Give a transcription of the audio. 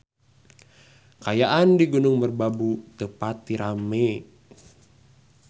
Kaayaan di Gunung Merbabu teu pati rame